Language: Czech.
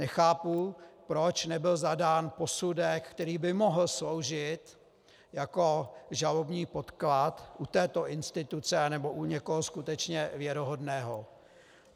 Nechápu, proč nebyl zadán posudek, který by mohl sloužit jako žalobní podklad u této instituce nnebo u někoho skutečně věrohodného.